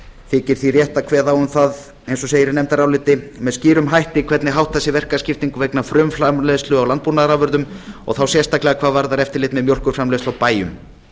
þykir því rétt að kveða á um það eins og segir í nefndaráliti með skýrum hætti hvernig háttað er verkaskiptingu vegna frumframleiðslu á landbúnaðarafurðum og þá sérstaklega hvað varðar eftirlit með mjólkurframleiðslu á bæjum